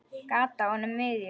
Gat á honum miðjum.